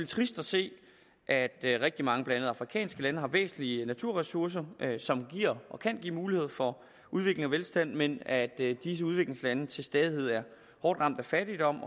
trist at se at rigtig mange blandt andet afrikanske lande har væsentlige naturressourcer som giver og kan give mulighed for udvikling af velstand men at disse udviklingslande til stadighed er hårdt ramt af fattigdom